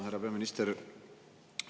Härra peaminister!